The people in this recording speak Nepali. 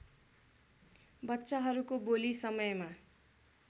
बच्चाहरूको बोली समयमा